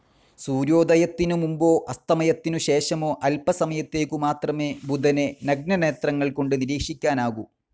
സൂര്യോദയത്തിനു മുമ്പോ അസ്തമയത്തിനു ശേഷമോ അല്പസമയത്തേക്കു മാത്രമേ ബുധനെ നഗ്നനേത്രങ്ങൾ കൊണ്ട് നിരീക്ഷിക്കാനാകൂ.